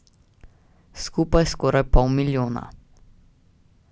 Skupaj skoraj pol milijona.